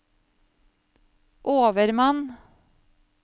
overmann